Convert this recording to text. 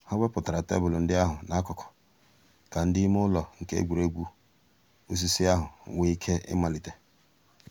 hà wépụ̀rù tebụl ńdí àhụ̀ n'àkùkò kà um ǔ́dị̀ ìmè ǔlọ̀ nke ègwè́ré́gwụ̀ òsìsì àhụ̀ nwee íké ị̀màlítè.